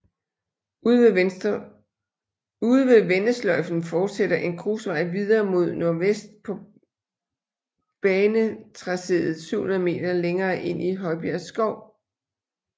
Ude ved vendesløjfen fortsætter en grusvej videre mod nordvest på banetracéet 700 meter længere ind i Højbjerg Skov